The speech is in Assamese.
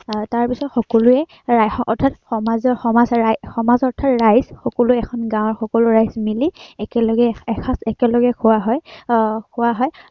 আহ তাৰপিছত সকলোৱে এৰ অৰ্থাৎ সমাজএৰ আহ সমাজ, সমাজ অৰ্থাত ৰাইজ সকলোৱে এখন গাওঁৰ সকলো ৰাইজ মিলি একেলগে এসাঁজ একলেগে খোৱা হয়, আহ